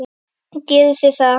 Og gerðu þið það?